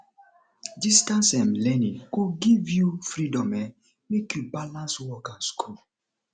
distance um learning go give you freedom um make you balance work and school